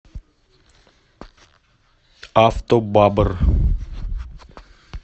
автобабр